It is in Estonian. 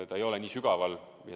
Ta ei ole nii sügaval.